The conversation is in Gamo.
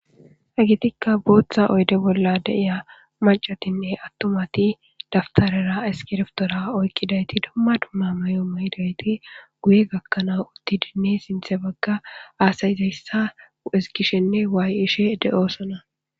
Hagetikka booththa oyde bolla deiya macatinne attomati daftarera eskireftora oykkidayti dumma dumma mayo maydayti guye gakkanaa utti dinne sinthe bagga aasayizayssa eskishenne waayishe de7oosona